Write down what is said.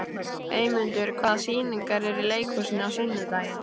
Eymundur, hvaða sýningar eru í leikhúsinu á sunnudaginn?